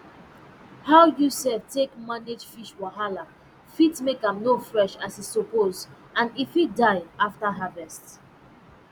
how um you take um manage fish wahala fit make am no fresh as e suppose and e fit die after harvest